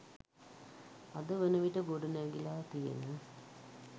අද වනවිට ගොඩනැගිලා තියෙන